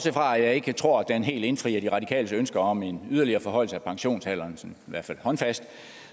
fra at jeg ikke tror at den helt indfrier de radikales ønske om en yderligere forhøjelse af pensionsalderen sådan i hvert fald håndfast